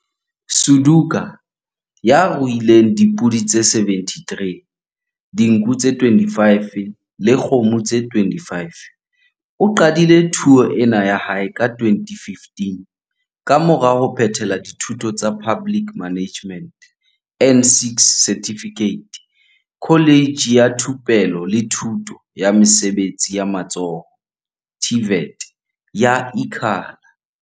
Suduka, ya ruileng le dipodi tse 73, dinku tse 25 le dikgomo tse 25, o qadile thuo ena ya hae ka 2015 kamora ho phethela dithuto tsa Public Management N6 Certificate Kholejeng ya Thupelo le Thuto ya Mesebetsi ya Matsoho, TVET, ya Ikhala.